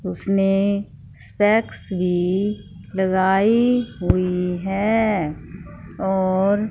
उसने स्पेकस भी लगाई हुई है और--